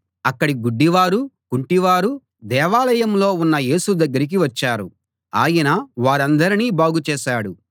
అక్కడి గుడ్డివారు కుంటివారు దేవాలయంలో ఉన్న యేసు దగ్గరికి వచ్చారు ఆయన వారందరినీ బాగుచేశాడు